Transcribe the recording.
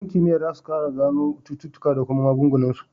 Yan kimiya zasu kara gano cututuƙa da kuma maganin su